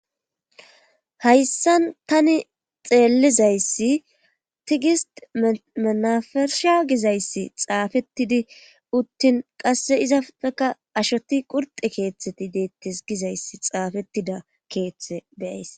hayssan tani xeellizayssi tigist manafersha gizayssi xaafettidi uttin qasse izafeka ashoti qurxe keeththeti deettes gizayssi xaafettida keeththe beyays